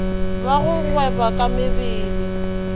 ba go gweba ka mebele